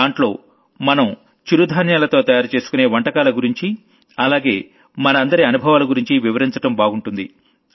దాంట్లో మనం మిల్లెట్లతో తయారు చేసుకునే డిషెస్ గురించి అలాగే మనందరి అనుభవాల గురించి వివరించడం బాగుంటుంది